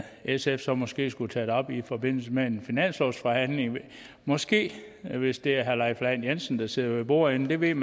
sf så måske skulle tage det op i forbindelse med en finanslovsforhandling måske hvis det er herre leif lahn jensen der sidder ved bordenden man ved